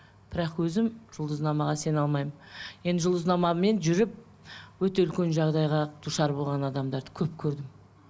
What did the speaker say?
бірақ өзім жұлдызнамаға сене алмаймын енді жұлдызнамамен жүріп өте үлкен жағдайға душар болған адамдарды көп көрдім